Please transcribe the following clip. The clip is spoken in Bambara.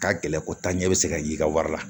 Ka gɛlɛn ko taa ɲɛ bɛ se ka y'i ka wari la